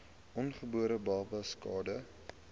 ongebore babas skade